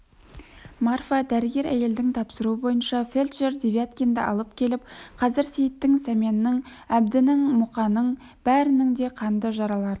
марфа дәрігер әйелдің тапсыруы бойынша фельдшер девяткинді алып келіп қазір сейіттің сәменнің әбдінің мұқаның бәрінің де қанды жараларын